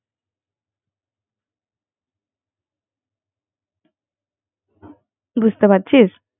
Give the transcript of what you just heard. বুঝতে পারছিস